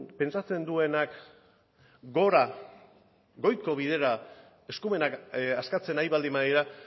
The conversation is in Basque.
pentsatzen duenak gora goiko bidera eskumenak askatzen ari baldin badira